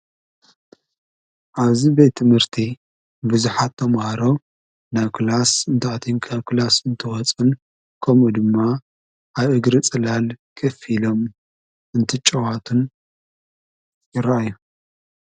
ኣብዚ ቤት ምህርቲ ብዙሓት ተምሃሮ ካብ ክላስ እንተእትዉን እንተወፅን ከምኡ ድማ ኣይእግሪ ጽላል ክፊሎም እንትጨዋትን ይረዮ።